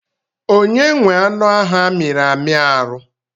Onye nwe anụ ahụ a miri amị arụ?